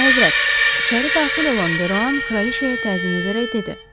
Əlahəzrət, içəri daxil olan Deroan kraliçəyə təzim edərək dedi.